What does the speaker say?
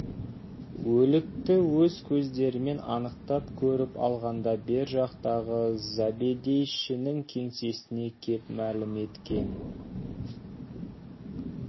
өлікті өз көздерімен анықтап көріп алғанда бер жақтағы забедейшінің кеңсесіне кеп мәлім еткен